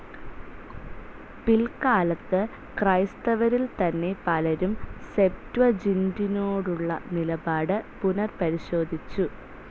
പിൽക്കാലത്ത് ക്രൈസ്തവരിൽതന്നെ പലരും സെപ്ത്വജിന്റിനോടുള്ള നിലപാട് പുനപരിശോധിച്ചു.